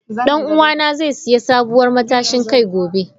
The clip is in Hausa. Dan uwana zai sayi sabuwar matashin kai gobe.